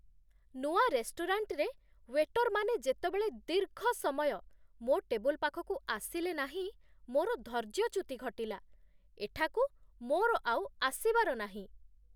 ନୂଆ ରେଷ୍ଟୁରାଣ୍ଟରେ, ୱେଟରମାନେ ଯେତେବେଳେ ଦୀର୍ଘ ସମୟ ମୋ ଟେବୁଲ ପାଖକୁ ଆସିଲେ ନାହିଁ, ମୋର ଧୈର୍ଯ୍ୟଚ୍ୟୁତି ଘଟିଲା। ଏଠାକୁ ମୋର ଆଉ ଆସିବାର ନାହିଁ।